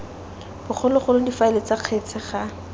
bogologolo difaele tsa kgetse ga